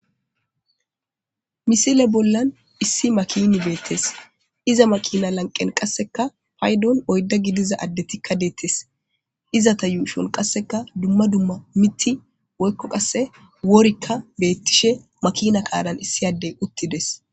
Misile bollan issi makini beettes iza makina lanqen qasseka paydon oydda gidiza addetikka deettes izata yuushon qasseka dumma dumma miti woykko qasse worikka beettishe makina kaalan issi addey uttides.